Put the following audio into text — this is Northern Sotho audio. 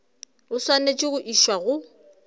o swanetše go išwa go